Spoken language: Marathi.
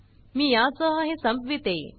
मी या सह हे संपवीते